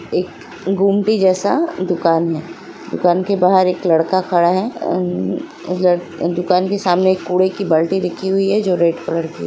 एक गोमती जैसा दुकान है दुकान के बाहर एक लड़का खड़ा है दुकान के सामने एक कूड़े की बाल्टी रखी हुई है जो रेड कलर जी है।